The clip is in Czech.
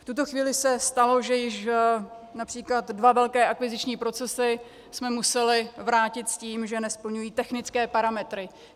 V tuto chvíli se stalo, že již například dva velké akviziční procesy jsme museli vrátit s tím, že nesplňují technické parametry.